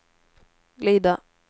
glida